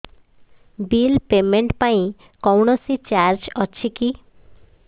bill payment ପାଇଁ କୌଣସି charge ଅଛି କି